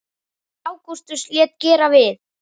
Ágústus lét gera við